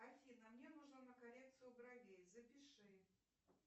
афина мне нужно на коррекцию бровей запиши